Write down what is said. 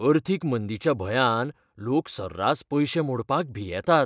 अर्थीक मंदिच्या भंयान लोक सर्रास पयशें मोडपाक भियेतात.